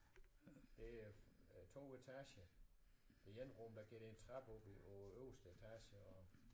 Det er 2 etager det ene rum der går der en trappe op på øverste etage og